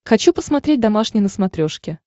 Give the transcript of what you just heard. хочу посмотреть домашний на смотрешке